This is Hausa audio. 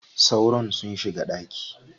Sauron sun shiga ɗaki.